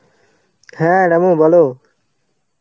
হ্যাঁ রামু বলো.